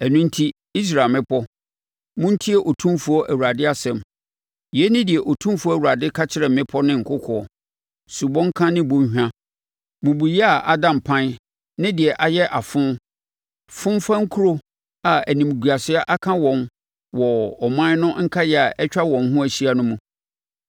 ɛno enti, Israel mmepɔ, montie Otumfoɔ Awurade asɛm: Yei ne deɛ Otumfoɔ Awurade ka kyerɛ mmepɔ ne nkokoɔ, subɔnka ne bɔnhwa, mmubuiɛ a ada mpan ne deɛ ayɛ afo, fomfa nkuro a animguaseɛ aka wɔn wɔ aman no nkaeɛ a atwa wɔn ho ahyia no mu.